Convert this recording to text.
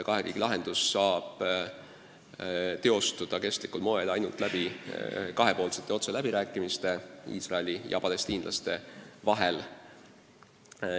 Kahe riigi lahendus aga saab teostuda kestlikul moel ainult kahepoolsetel otseläbirääkimistel Iisraeli ja palestiinlaste vahel.